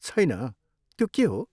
छैन, त्यो के हो?